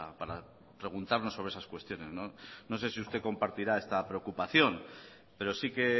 para preguntarnos sobre esas cuestiones no sé si usted compartirá esta preocupación pero sí que